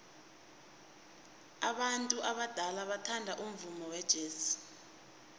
abantu abadala bathanda umvumo wejazz